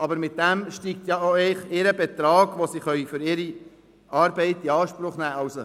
Aber damit steigt eigentlich auch ihr Ertrag, den sie für ihre Arbeit in Anspruch nehmen können.